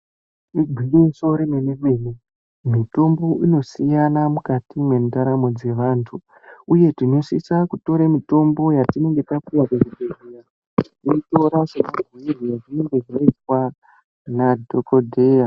Igwinyiso remene mene mitombo ino siyana mukati mwendaramo dzewantu uye dzinosisa kutore mitombo yetinenge tapuwa kuzvibhedhleya toitora semabhuirwe azvinenge zvaitwa nadhokodheya.